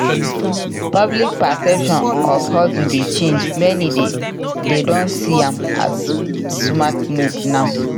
Public perception of hustle dey change; many dey don see am as smart move now.